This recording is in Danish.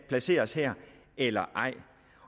placeres her eller ej